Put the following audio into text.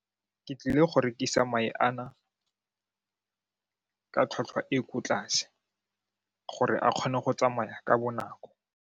Ke tlile go rekisa mae a na ka tlhwatlhwa e ko tlase gore a kgone go tsamaya ka bonako.